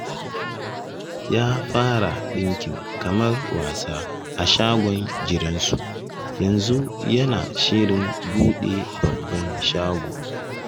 Ya fara ɗinkin kamar wasa a shagon gidansu, yanzu yana shirin buɗe babban shago